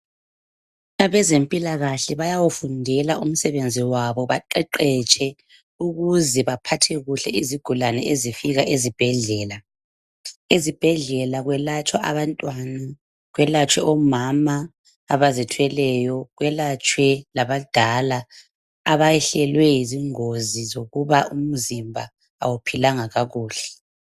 Abezempilakahle bayawufundela umsebenzi wabo baqeqetshe ukuze baphathe kuhle izigulane ezifika ezibhedlela. Ezibhedlela kwelatshwa abantwana, kwelatshwe omama abazithweleyo, kwelatshwe labadala abayehlelwe zingozi zokuba umzimba awuphilanga kakuhle.